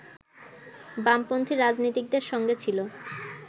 বামপন্থী রাজনীতিকদের সঙ্গে ছিল